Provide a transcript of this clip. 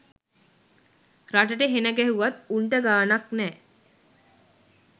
රටට හෙන ගැහුවත් උනට ගානක් නෑ